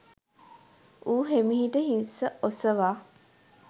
ඌ හෙමිහිට හිස ඔසවා